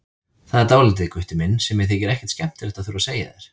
Það er dálítið, Gutti minn, sem mér þykir ekkert skemmtilegt að þurfa að segja þér.